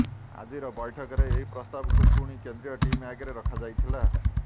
ଆଜିର ବୈଠକରେ ଏହି ପ୍ରସ୍ତାବକୁ ପୁଣି କେନ୍ଦ୍ରୀୟ ଟିମ୍ ଆଗରେ ରଖାଯାଇଥିଲା